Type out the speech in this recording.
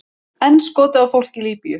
Enn skotið á fólk í Líbýu